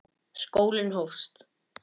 Skólinn hófst.